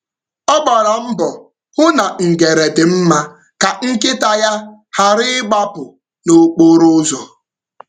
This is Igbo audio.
Ọ gbara mbọ hụ na ngere dị mma ka nkịta ya ghara ịgbapụ n’okporo ụzọ.